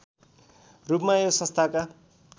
रूपमा यो संस्थाका